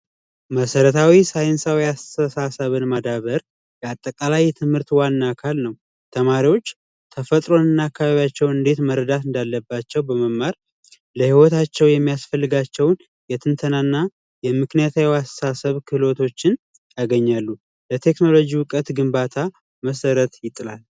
መሰረታዊ ሳይንሳዊ አስተሳሰብን ማዳበር ያጠቃላይ የትምህርት ዋና ካልነው ተማሪዎች ተፈጥሮንናቸው እንዴት መረዳት እንዳለባቸው በመማር ለሂወታቸው የሚያስፈልጋቸውን የትንተናና የምክንያት ችሎቶችን ያገኛሉ እውቀት ግንባታ መሠረት ያገኛሉ